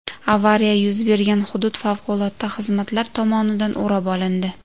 Avariya yuz bergan hudud favqulodda xizmatlar tomonidan o‘rab olindi.